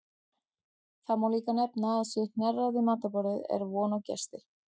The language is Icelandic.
Þá má líka nefna að sé hnerrað við matarborðið er von á gesti.